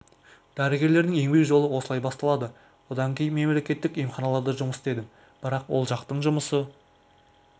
дәрігерлердің еңбек жолы осылай басталады одан кейін мемлекеттік емханаларда жұмыс істедім бірақ ол жақтың жұмысы